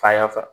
Fa y'a fasa